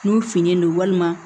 N'u finen don walima